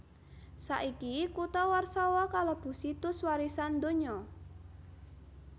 Saiki kutha Warsawa kalebu Situs Warisan Donya